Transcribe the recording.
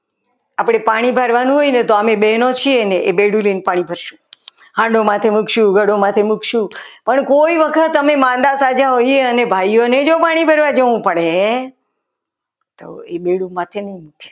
આપણે પાણી ભરવાનું હોય ને તો અમે બહેનો છીએ ને એ બેડું માથે મૂકશું ઘડો માથે મૂકશું ઘડો માથે મૂકશું અને કોઈ વખત અમે માંદા સાચા હોય છે અને ભાઈઓને પાણી ભરવા જવું પડે તો એ બેડું માથે નહીં મૂકે.